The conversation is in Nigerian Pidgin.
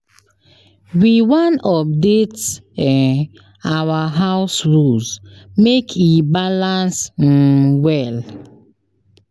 We wan update um our house rules make e balance um well.